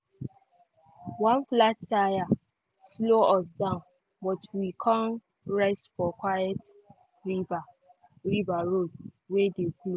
one flat tire slow us down but we con rest for quiet river road wey dey close.